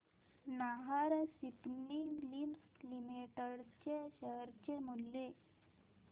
Nahar spinning mills limited चे share मूल्य